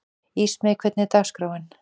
Ísmey, hvernig er dagskráin?